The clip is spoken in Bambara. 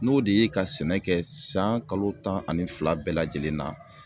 N'o de ye ka sɛnɛ kɛ san kalo tan ani fila bɛɛ lajɛlen na